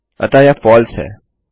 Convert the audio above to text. अतः यह फलसे है